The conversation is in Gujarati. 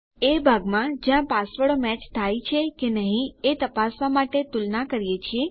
એ ભાગમાં જ્યાં પાસવર્ડો મેચ થાય છે કે નહી એ તપાસવા માટે તુલના કરીએ છીએ